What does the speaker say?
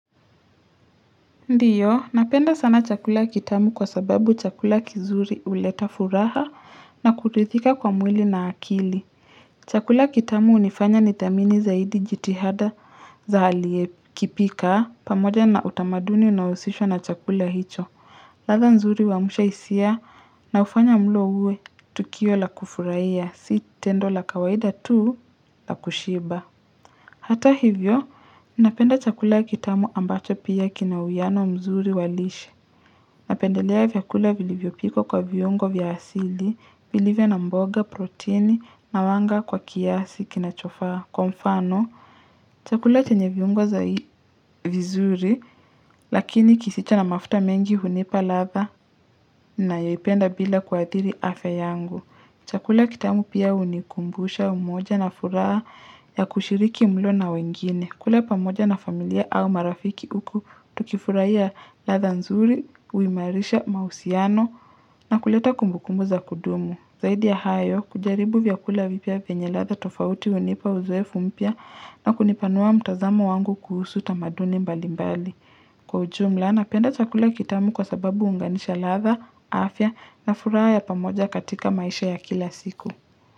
Ndiyo, napenda sana chakula kitamu kwa sababu chakula kizuri huleta furaha na kutithika kwa mwili na akili. Chakula kitamu hunifanya nithamini zaidi jitihada za aliye kipika pamoja na utamaduni unaohusishwa na chakula hicho. Ladha nzuri wamusha hisia na hufanya mulo uwe tukio la kufurahia, si tendo la kawaida tu la kushiba. Hata hivyo, napenda chakula kitamu ambacho pia kina uwiano mzuri wa lishe. Napendelea vyakula vilivyo pikwa kwa viungo vya asili, vilivyo na mboga, proteini, na wanga kwa kiasi kinachofaa. Kwa mfano, chakula chenye viungo za vizuri, lakini kisicho na mafuta mengi hunipa ladha nayoipenda bila kuathiri afya yangu. Chakula kitamu pia hunikumbusha umoja na furaha ya kushiriki mlo na wengine. Kula pamoja na familia au marafiki uku tukifurahia ladha nzuri, uimarisha, mausiano na kuleta kumbukumbu za kudumu. Zaidi ya hayo, kujaribu vyakula vipya venye ladha tofauti hunipa uzowefu mpya na kunipanua mtazamo wangu kuhusu tamaduni mbali mbali. Kwa ujumla, napenda chakula kitamu kwa sababu huunganisha ladha, afya na furaha ya pamoja katika maisha ya kila siku.